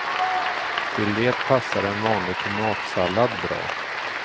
Till det passar en vanlig tomatsallad bra.